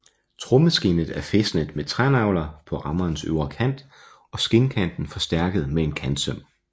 Trommeskindet er fæstnet med trænagler på rammens øvre kant og skindkanten forstærket med en kantsøm